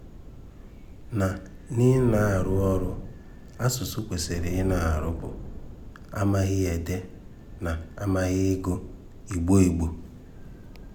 Na n’ị̀nà-árụ́ ọrụ̀ asụ̀sụ́ kwèsịrị ị̀nà-árụ́ bụ́ àmàghì ídé na àmàghì ị̀gụ Ìgbò. Ìgbò.